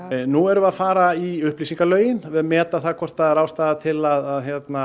nú erum við að fara í upplýsingalögin og meta það hvort ástæða til að